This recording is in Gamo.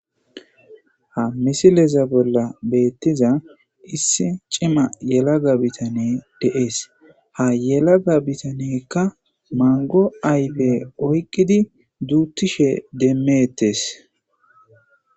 Ha misileza bolla betiza issi cimma yalaga bittaneyi deyesi. Ha yalaga bitaneyika manigo ayife oyikidi duthishe demetesi.